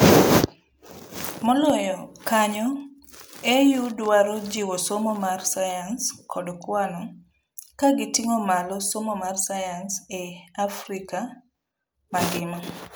Moloyo kanyo, AUdwaro jiwo somo mar science kod kwano ka giting'o malo somo mar science e Africva mangima'